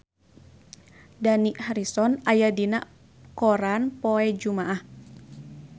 Dani Harrison aya dina koran poe Jumaah